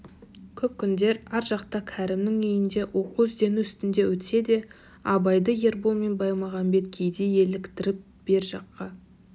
көп күндер ар жақта кәрімнің үйінде оқу-іздену үстінде өтсе де абайды ербол мен баймағамбет кейде еліктіріп бер жаққа